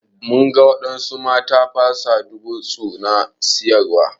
Mun ga wadansu mata na fasa duwatsu na siyarwa.